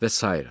və sairə.